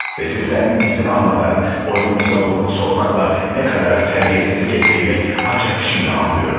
Ve sizdən izin almadan oyununuza burnumu sokmakla nə qədər tərbiyəsizlik etdiyimi ancaq şimdi anlıyorum.